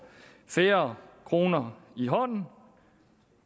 færre kroner i hånden